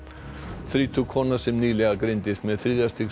þrítug kona sem nýlega greindist með þriðja stigs